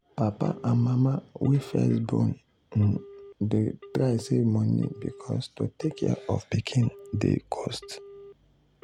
papa and mama wey first born um dey try save money because to take care of pikin dey cost.